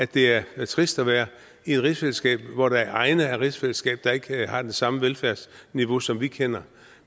det er trist at være i et rigsfællesskab hvor der er egne af rigsfællesskabet der ikke har det samme velfærdsniveau som vi kender